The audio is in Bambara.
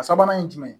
A sabanan ye jumɛn